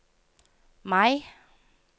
Mai